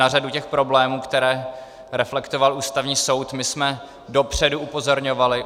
Na řadu těch problémů, které reflektoval Ústavní soud, jsme my dopředu upozorňovali.